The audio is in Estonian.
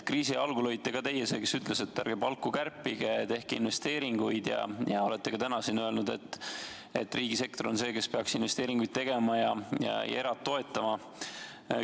Kriisi algul olite ka teie see, kes ütles, et ärge palku kärpige, tehke investeeringuid, ja olete ka täna siin öelnud, et riigisektor on see, kes peaks investeeringuid tegema ja erasektorit toetama.